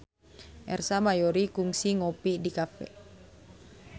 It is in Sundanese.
Ersa Mayori kungsi ngopi di cafe